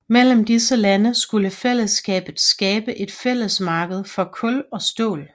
Mellem disse lande skulle fællesskabet skabe et fællesmarked for kul og stål